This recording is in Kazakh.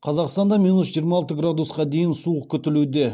қазақстанда минус жиырма алты градусқа дейін суық күтілуде